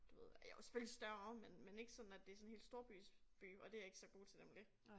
Du ved ja jo selvfølgelig større men men ikke sådan at det sådan helt storbys by og det jeg ikke så god til nemlig